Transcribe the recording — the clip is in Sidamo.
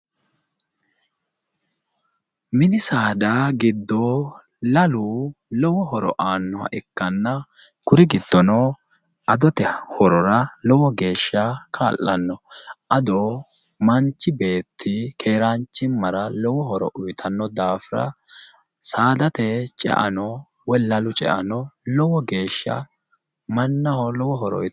mini saada giddo lalu lowo horo aannoha ikkanna kuri giddono adote horora lowo geeshsha ka'lanno ado manchi beetti keeraanchimmara lowo horo uyiitanno daafira saadate ceano woyi lalu ceano lowo geeshsha mannaho lowo horo uyiitanno